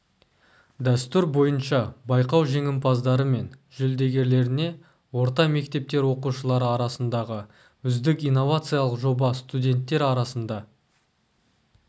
дәстүр бойынша байқау жеңімпаздары мен жүлдегерлеріне орта мектептер оқушылары арасындағы үздік инновациялық жоба студенттер арасында